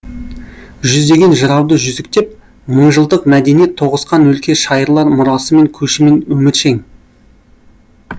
жүздеген жырауды жүзіктеп мыңжылдық мәдениет тоғысқан өлке шайырлар мұрасымен көшімен өміршең